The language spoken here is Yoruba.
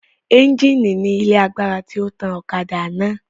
Ẹńjìnì ni ilé agbára tí ó tan ọ̀kadà náà